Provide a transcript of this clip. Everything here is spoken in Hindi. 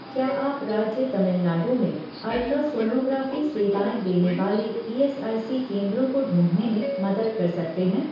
क्या आप राज्य तमिलनाडु में अल्ट्रासोनोग्राफ़ी सेवाएँ देने वाले ईएसआईसी केंद्रों को ढूँढने में मदद कर सकते हैं